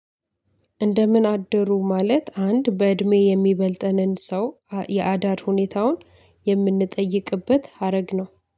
እንደምን አደሩ ማለት አንድ በእድሜ የሚበልጠንን ሰው የአዳር ሁኔታውን የምንጠይቅበት ሀረግ ነው